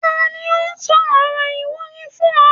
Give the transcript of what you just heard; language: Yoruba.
Ta ni ó sọ ọ̀rọ̀ ìwúrí fún ọ?